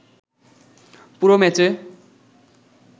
পুরো ম্যাচে